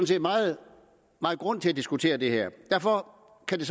set meget grund til at diskutere det her derfor kan det